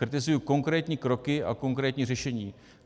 Kritizuji konkrétní kroky a konkrétní řešení.